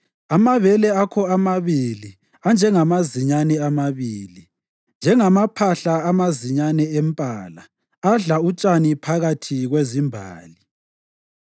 Amabele akho omabili anjengamazinyane amabili, njengamaphahla amazinyane empala adla utshani phakathi kwezimbali.